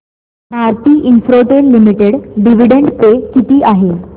Bharti Infratel limited dividend pay किती आहे